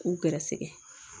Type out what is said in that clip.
K'u gɛrɛsɛgɛ